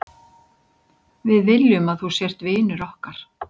Við viljum að þú sért vinur okkar.